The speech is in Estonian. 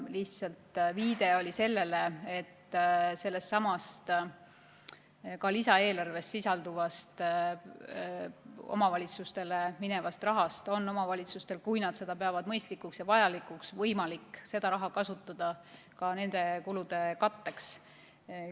Lihtsalt viide oli sellele, et sedasama lisaeelarves sisalduvat omavalitsustele minevat raha on omavalitsustel, kui nad peavad seda mõistlikuks ja vajalikuks, võimalik kasutada ka nende kulude katteks.